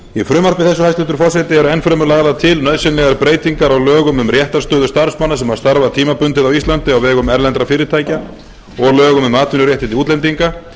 í frumvarpi þessu hæstvirtur forseti eru enn fremur lagðar til nauðsynlegar breytingar á lögum um réttarstöðu starfsmanna sem starfa tímabundið á íslandi á vegum erlendra fyrirtækja og lögum um atvinnuréttindi útlendinga